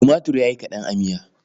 Tumatir ya yi kaɗan a miyar.